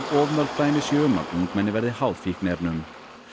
of mörg dæmi séu um að ungmenni verði háð fíkniefnum